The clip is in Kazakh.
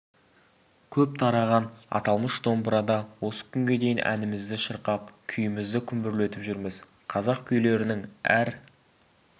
көп тараған аталмыш домбырада осы күнге дейін әнімізді шырқап күйімізді күмбірлетіп жүрміз қазақ күйлерінің әр